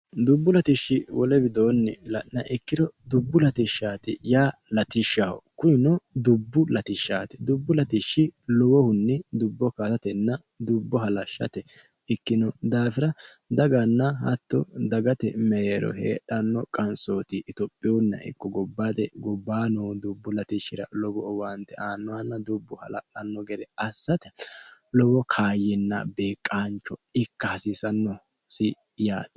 dubbu latishshi wole widoonni la'niha ikkiro dubbu latishshaati yaa latishshaho kunino dubbu latishshaate dubbu latishshstti lowohunni dubbo kaasatenna dubbo halashshate ikkino daafira daganna hatto dagate meero heedhanno qansooti itophihunna ikko gobbaate gobbaano dubbu latishshira lowo owaante aannohanna dubbu hala''anno gere assate lowo kaayyinna beeqaancho ikka hasiisannosi yaati